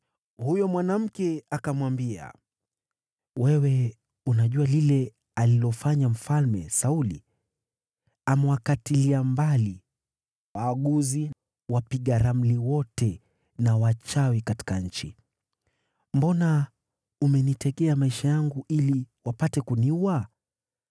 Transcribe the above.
Huyo mwanamke akamwambia, “Wewe unajua lile alilofanya Mfalme Sauli. Amewakatilia mbali waaguzi, wapiga ramli wote na wachawi katika nchi. Mbona umenitegea maisha yangu ili wapate kuniua?”